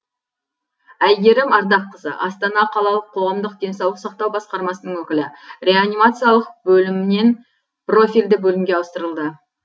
әйгерім ардаққызы астана қалалық қоғамдық денсаулық сақтау басқармасының өкілі реанимациялық бөлімінен профильді бөлімге ауыстырылды